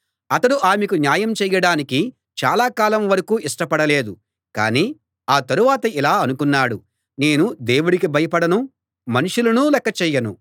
అతడు ఆమెకు న్యాయం చేయడానికి చాలాకాలం వరకూ ఇష్టపడలేదు కాని ఆ తరువాత ఇలా అనుకున్నాడు నేను దేవుడికి భయపడను మనుషులనూ లెక్కచెయ్యను